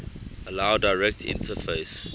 allow direct interface